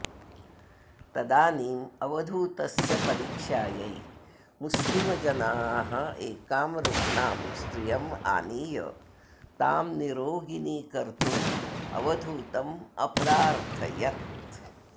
तदानीम् अवधूतस्य परीक्षायै मुस्लिमजनाः एकां रुग्णां स्त्रियम् आनीय तां निरोगिनी कर्तुम् अवधूतम् अप्रार्थयत्